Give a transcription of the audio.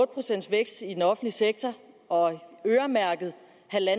procent vækst i den offentlige sektor og øremærke